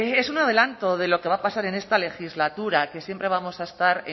es un adelanto de lo que va a pasar en esta legislatura que siempre vamos a estar